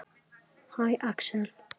Hæ, Axel.